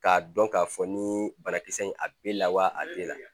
K'a dɔn k'a fɔ ni banakisɛ in a b'e lawa a b'e la